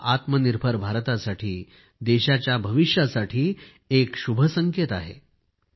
हा आत्मनिर्भर भारतासाठी देशाच्या भविष्यासाठी एक शुभ संकेत आहे